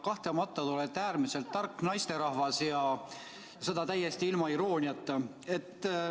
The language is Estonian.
Kahtlemata olete te äärmiselt tark naisterahvas, ja seda täiesti ilma irooniata.